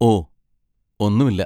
ഓ, ഒന്നുമില്ല.